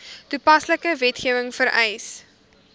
toepaslike wetgewing vereis